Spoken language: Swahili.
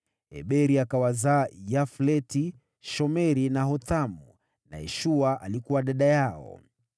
Heberi akawazaa Yafleti, Shomeri na Hothamu, na Shua dada yao.